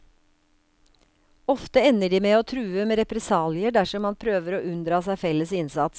Ofte ender de med å true med represalier dersom man prøver å unndra seg felles innsats.